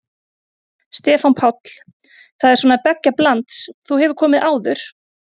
Stefán Páll: Það er svona beggja blands, þú hefur komið áður?